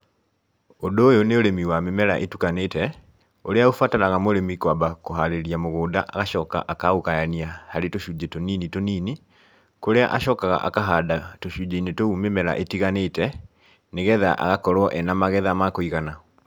Ũndũ ũyũ nĩ ũrĩmi wa mĩmera ĩtukanĩte, ũrĩa ũbataraga mũrĩmi kwamba kũharĩrĩria mũgũnda, agacoka akaũgayania harĩ tũcunjĩ tũnini tũnini, kũrĩa acokaga akahanda tũcunjĩ-inĩ tũu mĩmera ĩtiganĩte, nĩgetha agakorwo ena magetha ma kũigana.